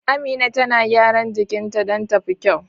Amina tana gyara jikinta don ta fi kyau.